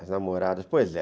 As namoradas, pois é.